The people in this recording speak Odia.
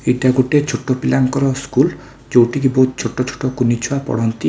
ଏଇଟା ଗୋଟେ ଛୋଟ ପିଲାଙ୍କର ସ୍କୁଲ ଯୋଉଠିକି ବହୁତ ଛୋଟ ଛୋଟ କୁନି ଛୁଆ ପଢ଼ନ୍ତି।